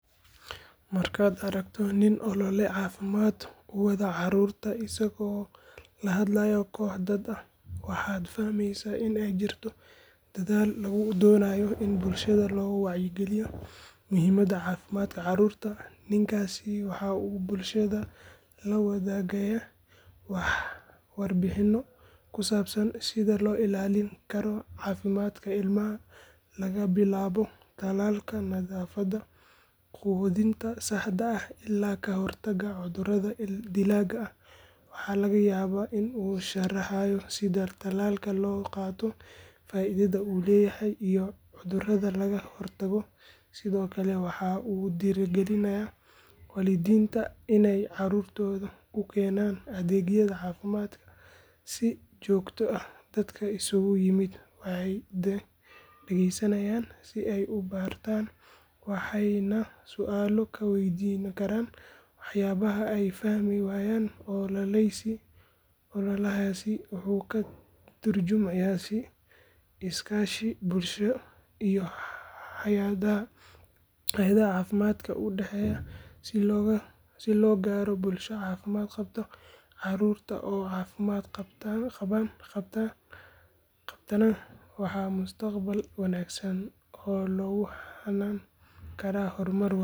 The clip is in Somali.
Markaad aragto nin olole caafimaad u wada carruurta isagoo la hadlayo koox dad ah waxaad fahmaysaa in ay jirto dadaal lagu doonayo in bulshada loo wacyigeliyo muhiimadda caafimaadka carruurta ninkaasi waxa uu bulshada la wadaagayaa warbixinno ku saabsan sida loo ilaalin karo caafimaadka ilmaha laga bilaabo talaalka nadaafadda quudinta saxda ah ilaa ka hortagga cudurrada dilaaga ah waxa laga yaabaa inuu sharaxayo sida tallaalka loo qaato faaidada uu leeyahay iyo cudurrada laga hortago sidoo kale waxa uu dhiirrigelinayaa waalidiinta inay carruurtooda u keenaan adeegyada caafimaad si joogto ah dadka isugu yimid waxay dhegeysanayaan si ay u bartaan waxayna su’aalo ka weydiin karaan waxyaabaha ay fahmi waayaan ololahaasi wuxuu ka tarjumayaa is-kaashi bulshada iyo hay’adaha caafimaadka u dhexeeya si loo gaaro bulsho caafimaad qabta carruurta oo caafimaad qabtana waa mustaqbal wanaagsan oo lagu hanan karo horumar waara.